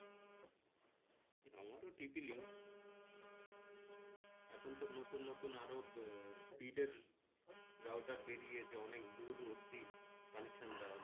আমারও tp link এখন তো নতুন নতুন আরও speed এর router বেরিয়েছে অনেক দূর অবধি connection দেওয়া যায়